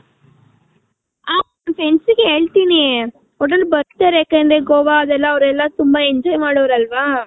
ನನ್ friends ಇಗ್ ಹೇಳ್ತೀನಿ ಒಟ್ನಲ್ಲಿ ಬರ್ತಾರೆ ಯಾಕಂದ್ರೆ ಗೋವ ಅದೆಲ್ಲ ಅವೆರೆಲ್ಲ ತುಂಬಾ enjoy ಮಾಡೋರ್ ಅಲ್ವ